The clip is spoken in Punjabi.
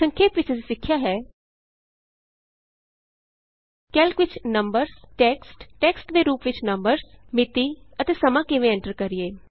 ਸੰਖੇਪ ਵਿਚ ਅਸੀਂ ਸਿੱਖਿਆ ਹੈ160 ਕੈਲਕ ਵਿਚ ਨੰਬਰਜ਼ ਟੈਕਸਟ ਟੈਕਸਟ ਦੇ ਰੂਪ ਵਿਚ ਨੰਬਰਜ਼ ਮਿਤੀ ਅਤੇ ਸਮਾਂ ਕਿਵੇਂ ਐਂਟਰ ਕਰੀਏ